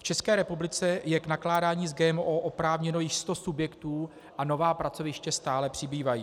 V České republice je k nakládání s GMO oprávněno již 100 subjektů a nová pracoviště stále přibývají.